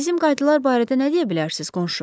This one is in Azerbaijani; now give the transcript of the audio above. Bizim qaydalar barədə nə deyə bilərsiz, qonşu?